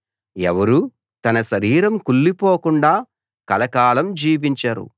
ఎవరూ తన శరీరం కుళ్ళిపోకుండా కలకాలం జీవించరు